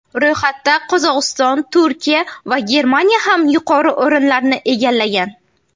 Ro‘yxatda Qozog‘iston, Turkiya va Germaniya ham yuqori o‘rinlarni egallagan.